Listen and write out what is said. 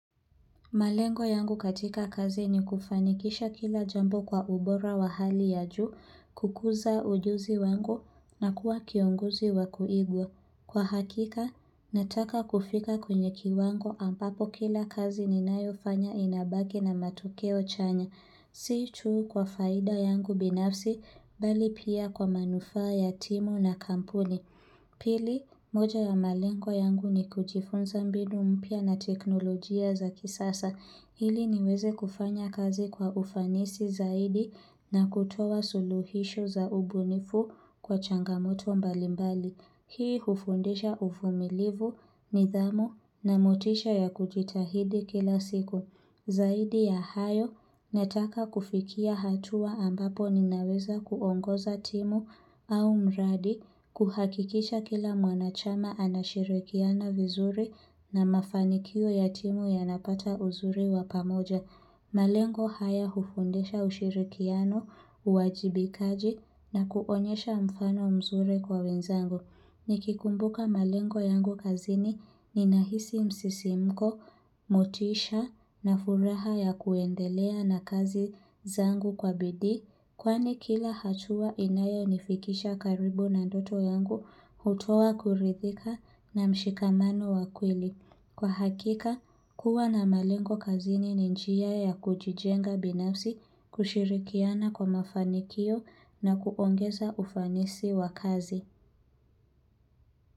Malengo yangu katika kazi ni kufanikisha kila jambo kwa ubora wa hali ya juu, kukuza ujuzi wangu na kuwa kiongozi wa kuigwa. Kwa hakika, nataka kufika kwenye kiwango ampapo kila kazi ninayofanya inabaki na matokeo chanya. Si tu kwa faida yangu binafsi, bali pia kwa manufaa ya timu na kampuni. Pili, moja ya malengo yangu ni kujifunza mbinu mpya na teknolojia za kisasa. Ili niweze kufanya kazi kwa ufanisi zaidi na kutoa suluhisho za ubunifu kwa changamoto mbalimbali. Hii hufundisha uvumilivu nidhamu na motisha ya kujitahidi kila siku. Zaidi ya hayo, nataka kufikia hatua ambapo ninaweza kuongoza timu au mradi, kuhakikisha kila mwanachama anashirikiana vizuri na mafanikio ya timu yanapata uzuri wa pamoja. Malengo haya hufundisha ushirikiano, uwajibikaji na kuonyesha mfano mzuri kwa wenzangu. Nikikumbuka malengo yangu kazini ninahisi msisimko, motisha na furaha ya kuendelea na kazi zangu kwa bidii. Kwani kila hatua inayonifikisha karibu na ndoto yangu hutoa kurithika na mshikamano wa kweli. Kwa hakika, kuwa na malengo kazini ni njia ya kujijenga binafsi kushirikiana kwa mafanikio na kuongeza ufanisi wa kazi.